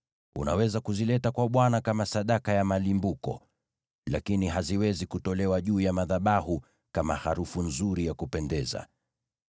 Unaweza kuzileta kwa Bwana kama sadaka ya malimbuko, lakini haziwezi kutolewa juu ya madhabahu kama harufu nzuri ya kupendeza.